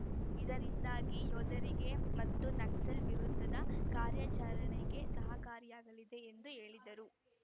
ಇದರಿಂದಾಗಿ ಯೋಧರಿಗೆ ಮತ್ತು ನಕ್ಸಲ್ ವಿರುದ್ಧದ ಕಾರ್ಯಾಚರಣೆಗೆ ಸಹಕಾರಿಯಾಗಲಿದೆ ಎಂದು ಹೇಳಿದರು